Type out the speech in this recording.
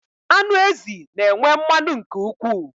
Anụ ezi na enwe mmanụ nke ụkwụ